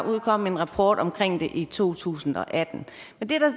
udkom en rapport omkring det i to tusind og atten men det